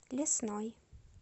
лесной